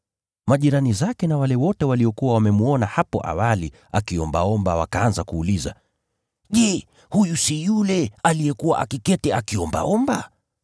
Majirani zake na wale wote waliokuwa wamemwona hapo awali akiombaomba wakaanza kuuliza, “Je, huyu si yule aliyekuwa akiketi akiombaomba?”